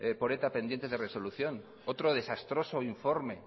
por eta pendientes de resolución otro desastroso informe